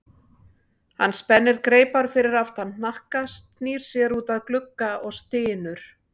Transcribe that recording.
Hann spennir greipar fyrir aftan hnakka, snýr sér út að glugga og stynur.